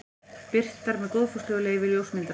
Birtar með góðfúslegu leyfi ljósmyndarans.